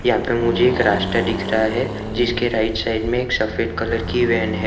यहां पर मुझे एक रास्ता दिख रहा है जिसके राइट साइड में एक सफेद कलर की वैन है।